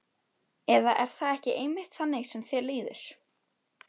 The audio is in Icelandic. Eða er það ekki einmitt þannig sem þér líður?